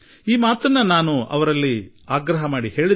ತೆರಿಗೆದಾರರಲ್ಲಿ ವಿಶ್ವಾಸ ಉಂಟು ಮಾಡಬೇಕು